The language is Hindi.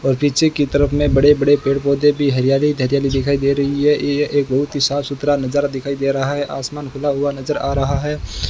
और पीछे की तरफ में बड़े बड़े पेड़ पौधे भी हरियाली हरियाली दिखाई दे रही है यह एक बहुत ही साफ सुथरा नजारा दिखाई दे रहा है आसमान खुला हुआ नजर आ रहा है।